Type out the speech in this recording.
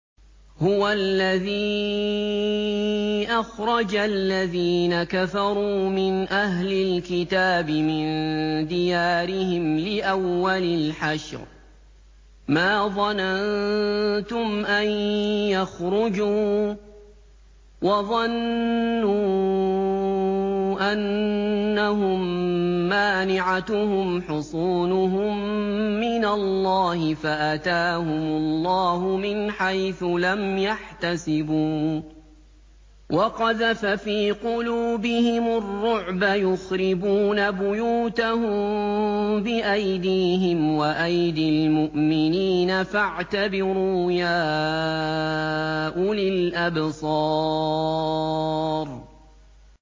هُوَ الَّذِي أَخْرَجَ الَّذِينَ كَفَرُوا مِنْ أَهْلِ الْكِتَابِ مِن دِيَارِهِمْ لِأَوَّلِ الْحَشْرِ ۚ مَا ظَنَنتُمْ أَن يَخْرُجُوا ۖ وَظَنُّوا أَنَّهُم مَّانِعَتُهُمْ حُصُونُهُم مِّنَ اللَّهِ فَأَتَاهُمُ اللَّهُ مِنْ حَيْثُ لَمْ يَحْتَسِبُوا ۖ وَقَذَفَ فِي قُلُوبِهِمُ الرُّعْبَ ۚ يُخْرِبُونَ بُيُوتَهُم بِأَيْدِيهِمْ وَأَيْدِي الْمُؤْمِنِينَ فَاعْتَبِرُوا يَا أُولِي الْأَبْصَارِ